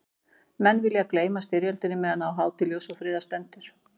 Menn vilja gleyma styrjöldinni meðan á hátíð ljóss og friðar stendur.